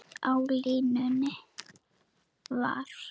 Á línunni var